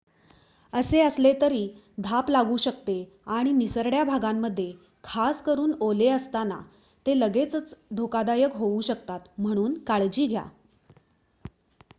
असे असले तरी धाप लागू शकते आणि निसरड्या भागांमध्ये खासकरून ओले असताना ते लगेचच धोकादायक होऊ शकतात म्हणून काळजी घ्या